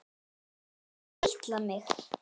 Hættu að kitla mig.